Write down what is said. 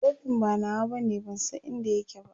kofin ba nawa bane ban San inda yake ba